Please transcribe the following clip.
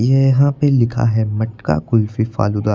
यहां पे लिखा है मटका कुल्फी फालूदा।